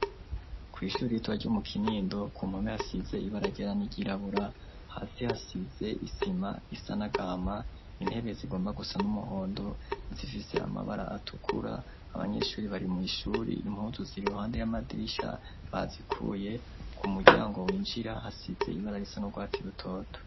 Kw'ishuri ritwa ryo mu kinindo ku mpome hasize ibarageran'iryirabura hasi hasize isima isanagama intebe zigomba gusa n'umuhondo insifise amabara atukura abanyeshuri bari mw'ishuri impuzu zi ruhande y'amadirisha bazikuye ku muryango winjira hasize ibara risa n'urwatsi rutona.